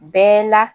Bɛɛ la